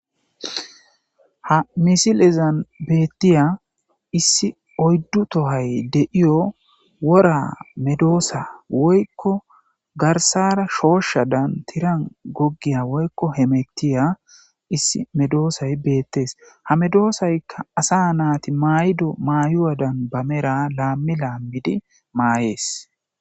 Hamisilezan beettiya issi oyddu tohoy de7iyo wora medoossa garssara shooshshan tiran hamuttiya issi medosay beettes.hamedosayka asa naati mayido mayoodan laammi laammidi mayees.